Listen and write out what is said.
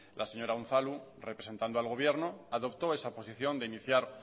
la señora unzalu representando al gobierno adoptó esa posición de iniciar